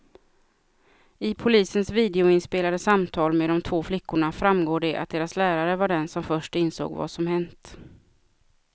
I polisens videoinspelade samtal med de två flickorna framgår det att deras lärare var den som först insåg vad som hänt.